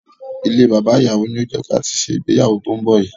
Ilée Baba Ìyàwó ni ó ti yẹ ká ṣe ìgbéyàwó tí ó ń bọ̀ yìí.